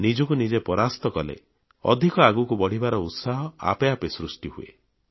ନିଜକୁ ନିଜେ ପରାସ୍ତ କଲେ ଅଧିକ ଆଗକୁ ବଢ଼ିବାର ଉତ୍ସାହ ଆପେ ଆପେ ସୃଷ୍ଟି ହୁଏ